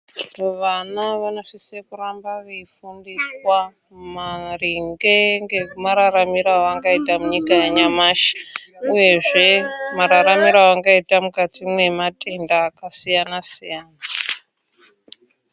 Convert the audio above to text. Vana vanosise kuramba veifundiswa maringe nemararamiro avangaita munyika yanyamashi uyezve mararamiro avangaita mukati mwematenda akasiyana siyana.